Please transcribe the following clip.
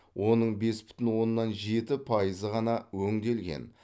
оның бес бүтін оннан жеті пайызы ғана өңделген